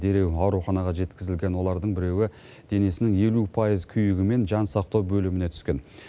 дереу ауруханаға жеткізілген олардың біреуі денесінің елу пайыз күйігімен жансақтау бөліміне түскен